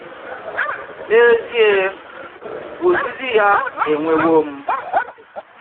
N’ēzìé, òzìzì yà ènwèwò m